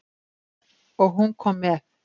Og hún kom með.